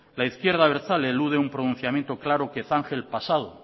la izquierda abertzale elude un pronunciamiento claro que zanje el pasado